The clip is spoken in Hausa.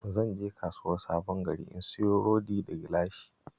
Zan je Kasuwar Sabon Gari in siyo rodi da gilashi